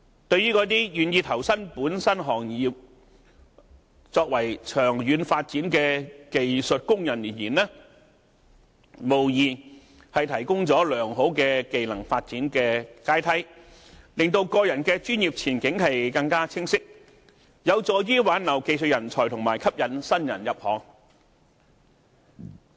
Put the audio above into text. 對於那些願意投身本身行業作長遠發展的技術工人而言，無疑提供了良好的技能發展階梯，令個人的專業前景更為清晰，有助於挽留技術人才和吸引新人入行。